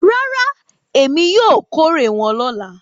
Rárá, èmi yóò kórè wọn lọ́la.